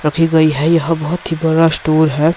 रखी गई है यहा बहोत ही बरा स्टोर है।